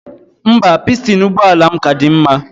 Mba, pistin ụgbọala m ka dị mma